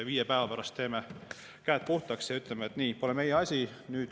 Viie päeva pärast teeme käed puhtaks ja ütleme, et nii, pole meie asi.